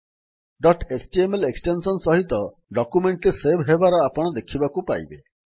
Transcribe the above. dot HTML extension ସହିତ document ଟି save ହେବାର ଆପଣ ଦେଖିବାକୁ ପାଇବେ